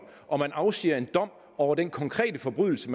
og man afsiger en dom over den konkrete forbrydelse